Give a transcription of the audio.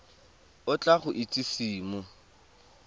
o tla go itsise mo